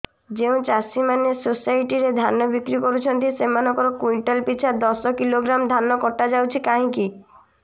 ଯେଉଁ ଚାଷୀ ମାନେ ସୋସାଇଟି ରେ ଧାନ ବିକ୍ରି କରୁଛନ୍ତି ସେମାନଙ୍କର କୁଇଣ୍ଟାଲ ପିଛା ଦଶ କିଲୋଗ୍ରାମ ଧାନ କଟା ଯାଉଛି କାହିଁକି